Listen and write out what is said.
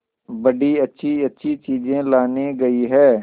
बड़ी अच्छीअच्छी चीजें लाने गई है